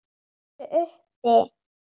Þau eru uppi.